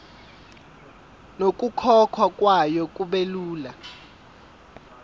nokukhokhwa kwayo kubelula